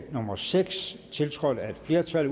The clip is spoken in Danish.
nummer seks tiltrådt af et flertal